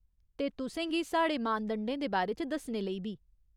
ते तुसें गी साढ़े मानदंडें दे बारे च दस्सने लेई बी।